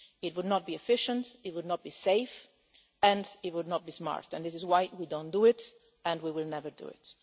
It would not be efficient, it would not be safe, and it would not be smart, and this is why we do not do it and we will never do it.